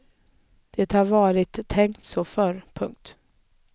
Det har varit tänkt så förr. punkt